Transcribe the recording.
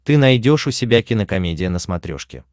ты найдешь у себя кинокомедия на смотрешке